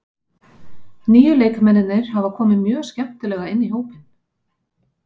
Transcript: Nýju leikmennirnir hafa komið mjög skemmtilega inn í hópinn.